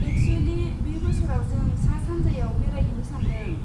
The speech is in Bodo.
एक्सुयेलि, बे बोसोराव जों सा सान्जायाव बेरायहैनो सान्दों।